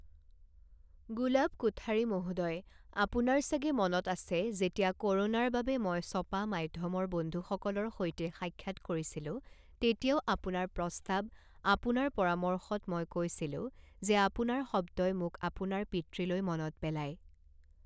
গুলাব কোঠাৰী মহোদয়, আপোনাৰ চাগে মনত আছে, যেতিয়া ক ৰোনাৰ বাবে মই ছপা মাধ্যমৰ বন্ধুসকলৰ সৈতে সাক্ষাৎ কৰিছিলো তেতিয়াও আপোনাৰ প্ৰস্তাৱ, আপোনাৰ পৰামৰ্শত মই কৈছিলো যে আপোনাৰ শব্দই মোক আপোনাৰ পিতৃলৈ মনত পেলায়।